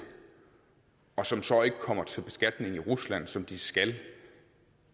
og som så ikke kommer til beskatning i rusland som de skal